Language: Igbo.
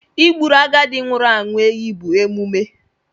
Ị Egburu agadi nwụrụ anwụ ehi bụ emume.